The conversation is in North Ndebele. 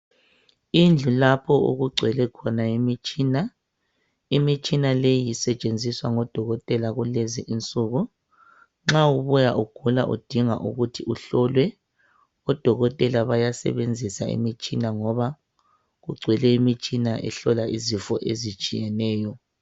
indlu lapho okugcwele khona imitshina imitshina leyi isetshenziswa ngodokotela kulezi insuku nxa ubuya ugula udinga ukuthi uhlolwe odkotela bayasebenzisa imitshina ngoba kugcwele imitshina ehlola izifo ezitshiyeneyo